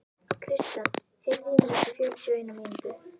Kristall, heyrðu í mér eftir fjörutíu og eina mínútur.